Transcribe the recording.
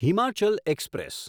Himachal express